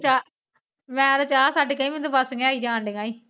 ਮੈਂ ਤਾਂ ਚਾਹ ਛੱਟ ਕੇ ਆਈ, ਮੈਨੂੰ ਤਾਂ ਅਵਾਸੀਆਂ ਆਈ ਜਾਣ ਡਿਆਂ ਸੀ।